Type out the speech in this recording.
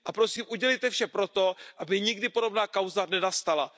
A prosím, udělejte vše pro to, aby nikdy podobná kauza nenastala.